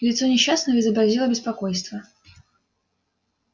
лицо несчастного изобразило беспокойство